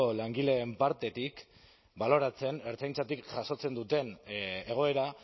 langileen partetik baloratzen ertzaintzatik jasotzen duten egoera